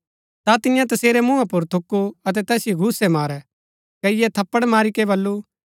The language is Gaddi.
ता तियें तसेरै मूँहा पुर थूकु अतै तैसिओ घूसै मारै कईये थप्पड़ मारी कै बल्लू